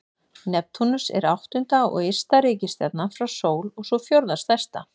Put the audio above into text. Neptúnus er áttunda og ysta reikistjarnan frá sól og sú fjórða stærsta.